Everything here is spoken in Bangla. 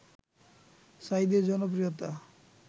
সাঈদীর জনপ্রিয়তা